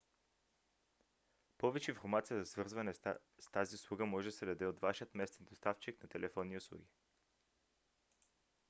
повече информация за свързване с тази услуга може да се даде от вашият местен доставчик на телефонни услуги